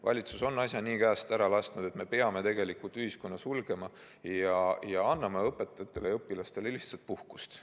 Valitsus on asja nii käest ära lasknud, et me peame tegelikult ühiskonna sulgema ja anname õpetajatele ja õpilastele lihtsalt puhkust.